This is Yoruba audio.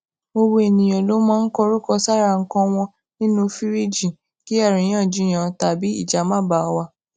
gbogbo ènìyàn ló máa ń kọrúkọ sára nǹkan wọn nínú fìríìjì kí àríyànjiyàn tabí ìjà má baà wà